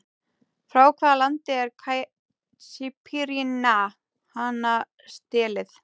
Frá hvaða landi er Caipirinha hanastélið?